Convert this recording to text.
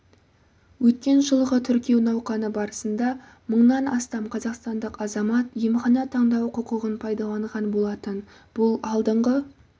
өткен жылғы тіркеу науқаны барысында мыңнан астам қазақстандық азамат емхана таңдау құқығын пайдаланған болатын бұл алдыңғы